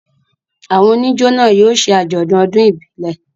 Àwọn oníjó náà yóò ṣe àjọ̀dún ọdún ìbílẹ̀.